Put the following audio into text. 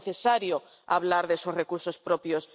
Es necesario hablar de esos recursos propios.